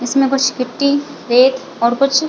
जिसमें कुछ गिट्टी रेत और कुछ--